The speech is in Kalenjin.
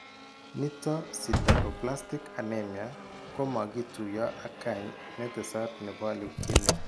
Niiton sideroblastic anemia komakituiyo ak kany ne tesat nebo leukemia.